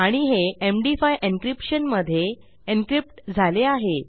आणि हे MD five encryption मधे एन्क्रिप्ट झाले आहे